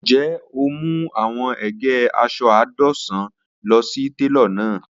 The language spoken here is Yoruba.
Njẹ o mu awọn ege aṣọ àádọ́wá lọ si telo lana?